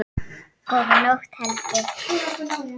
Góða nótt, Helgi.